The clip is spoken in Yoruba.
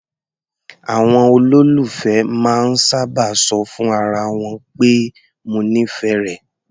Àwọn olólùfẹ́ máa ń sábà ṣọ fún ara wọn pé "mo nífẹ̀ẹ́ rẹ".